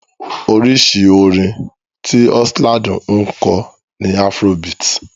Oríṣi orin tí Oxlade ń kọ ni afrobeat.